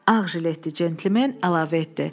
Ağ jiletdə Centilmen əlavə etdi.